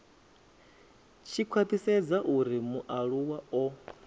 tshi khwathisedza uri mualuwa o